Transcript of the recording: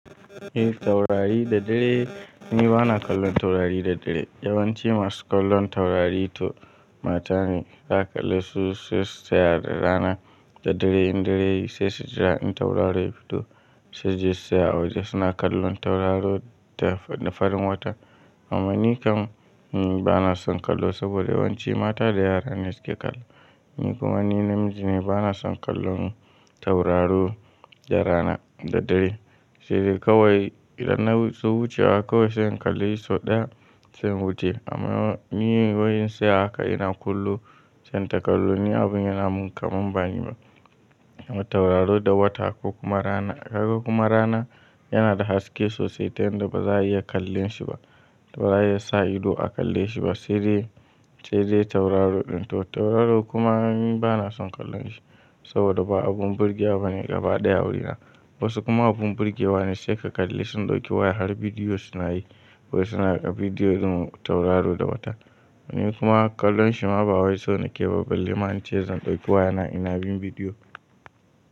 Eh taurari da dare ni bana kallon taurari da dare. Yawanci masu kallon taurari to mata ne za ka kalle su sai su tsaya da rana da dare in dare sai su jira in tauraro ya fito sai su je su tsaya a waje suna kallon tauraro da farin wata. Amma ni kam bana son kallo saboda yawanci mata da yara ne suke kallo. Ni kuma ni namiji ne bana son kallon tauraro da rana da dare. Sai dai kawai idan na so wucewa kawai sai in kalle shi sau ɗaya sai in wuce. Amma ni wai in tsaya haka sai ina kallo sai in ta kallo. Ni abin yana mun kamam bani ma. Tauraro da wata ko kuma rana, ko kuma rana yana da haske sosai tan da ba za a iya kallon shi ba. Ba za a iya sa ido a kalle shi ba. Sai dai, sai dai tauraro ɗin to tauraro kuma ni bana son kallon shi saboda ba abun burge ba ne gaba ɗaya wurina. Wasu kuma abun burge wa ne sai ka kalle sun ɗauki waya har bidiyo suna yi. Wai suna raka bidiyo zum tauraro da wata. Ni kuma kallon shi ma ba wai so na ke ba balle ma in ce zan ɗauki wayana ina bin bidiyo.